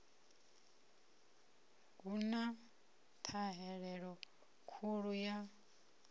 hu na ṱhahelelo khulu ya